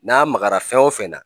N'a magara fɛn o fɛn na